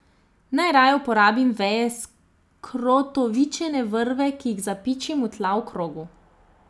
Najraje uporabim veje skrotovičene vrbe, ki jih zapičim v tla v krogu.